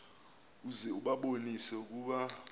uze ubabonise ukuba